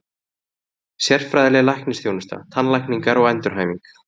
Sérfræðileg læknisþjónusta, tannlækningar og endurhæfing.